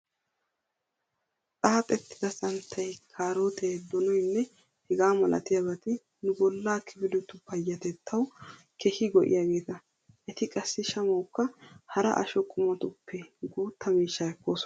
Xaaxettida santtay, kaarootee, donoynne hegaa malatiyaabati nu bollaa kifiletu payyatettawu keehi go"iyaageeta. Eti qassi shamawukka hara asho qumatuppe guutta miishshaa ekkoosona.